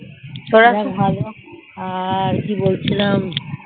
আর কি বলছিলাম